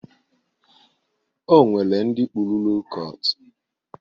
O nwere ndị kpụrụ lo kọt.